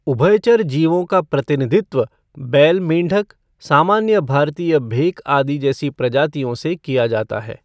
उभयचर जीवों का प्रतिनिधित्व बैल मेंढक, सामान्य भारतीय भेक आदि जैसी प्रजातियों से किया जाता है।